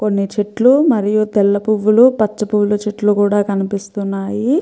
కొన్ని చెట్లు మరియు తెల్ల పువ్వులు పచ్చ పువ్వుల చెట్లు కూడా కనిపిస్తున్నాయి.